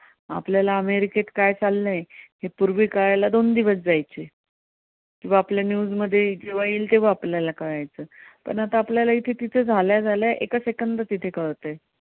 आपल्याला अमेरिकेत काय चाललंय पूर्वी कळायला दोन दिवस जायचे किंवा आपल्या news मध्ये जेंव्हा येईल तेंव्हा आपल्याला कळायचं पण आता आपल्याला इथं जिथं झाल्या झाल्या एका second त इथं कळतंय.